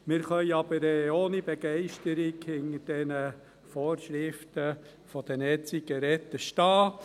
Wir können aber ohne Begeisterung hinter diesen Vorschriften zu den E-Zigaretten stehen.